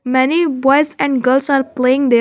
Many boys and girls are playing there.